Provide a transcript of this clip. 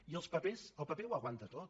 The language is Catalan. i els papers el paper ho aguanta tot